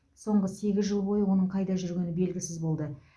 соңғы сегіз жыл бойы оның қайда жүргені белгісіз болды